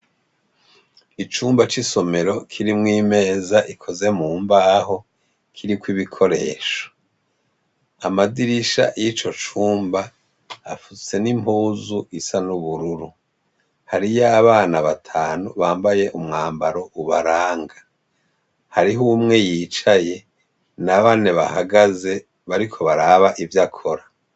Icumba c'isomero kirimwo imeza ikoze mu mbaho kiriko ibikoresho amadirisha y'ico cumba afutse n'impuzu isa n'ubururu hari yo abana batanu bambaye umwambaro ubaranga hariho umwe yicaye ye na bane bahagaze bariko baraba ivyo akora.